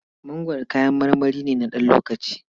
Mangwaro kayan marmari ne na ɗan lokaci.